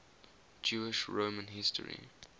jewish roman history